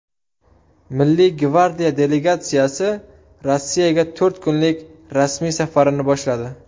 Milliy gvardiya delegatsiyasi Rossiyaga to‘rt kunlik rasmiy safarini boshladi.